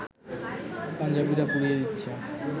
পাঞ্জাবিরা পুড়িয়ে দিচ্ছে